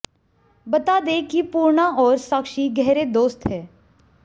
बता दें कि पूर्णा और साक्षी गहरे दोस्त हैं